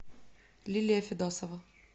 лилия федосова